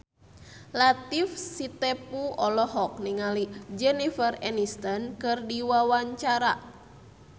Latief Sitepu olohok ningali Jennifer Aniston keur diwawancara